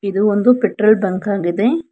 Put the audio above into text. ಇದು ಒಂದು petrol bunk ಆಗಿದೆ.